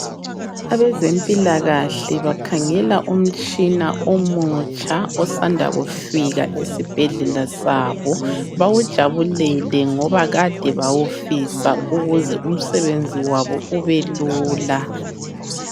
Abezempilakahle bakhangela umtshina omutsha, osanda kufika esibhedlela sabo. Bawujabulele ngoba kade bawufisa ukuze umsebenzi wabo ube lula.